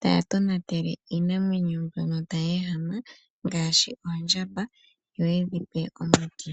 taya tonatele iinamwenyo mbyono tayi ehama ngaashi oondjamba yo ye dhi pe omiti.